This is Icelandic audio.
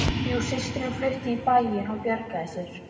Jú systirin flutti í bæinn og bjargaði sér